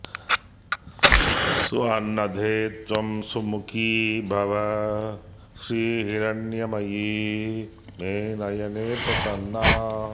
सुवर्णदे त्वं सुमुखी भव श्रीर्हिरण्मयी मे नयने प्रसन्ना